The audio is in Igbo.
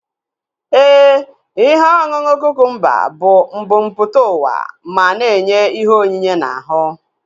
Éè, ihe ọṅụṅụ kukumba bụ mbumputauwa ma na enye ihe onyinye na ahu